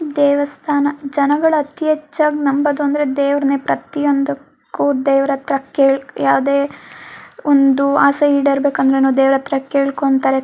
ದೇವಸ್ಥಾನ ಜನಗಳು ಅತೀ ಹೆಚ್ಚಾಗ್ ನಂಬೋದು ಅಂದ್ರೆ ದೇವ್ರನ್ನೇ ಪ್ರತಿಒಂದಕ್ಕೂ ದೇವ್ರತ್ರ ಕೇಳ್ ಯಾವದೇ ಒಂದು ಆಸೆ ಈಡೇರಬೇಕು ಅಂದ್ರೆನೂ ದೇವ್ರತ್ರ ಕೇಳ್ಕೊಂತಾರೆ.